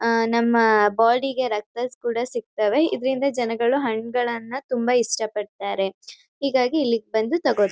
ಆಹ್ಹ್ ನಮ್ಮ್ ಬೋಡಿಗೆ ರಕ್ತ ಕೂಡ ಸಿಗ್ತವೆ ಇದ್ರಿಂದ ಜನಗಳು ಹಣ್ಣಗಳ್ನ ತುಂಬ ಇಷ್ಟ ಪಡ್ತಾರೆ ಹೀಗಾಗಿ ಇಲ್ಲಿಗ್ ಬಂದು ತಗೊತಾರೆ--